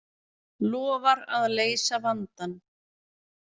Lofar að leysa vandann